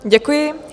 Děkuji.